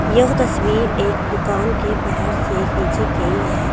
यह तस्वीर एक दुकान के बाहर से खिंची गई है।